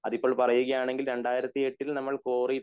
അതിപ്പോൾ പറയുകയാണെങ്കിൽ രണ്ടായിരത്തിഎട്ടിൽ നമ്മൾ കോറി